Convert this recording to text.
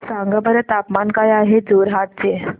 सांगा बरं तापमान काय आहे जोरहाट चे